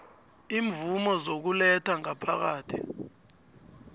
imvumo zokuletha ngaphakathi